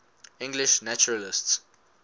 english naturalists